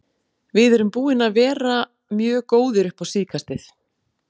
Við erum búnir að vera mjög góðir upp á síðkastið.